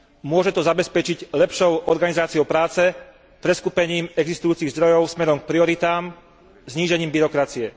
Môže to zabezpečiť lepšou organizáciou práce, preskupením existujúcich zdrojov smerom k prioritám, znížením byrokracie.